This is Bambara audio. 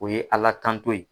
O ye Ala tanto ye.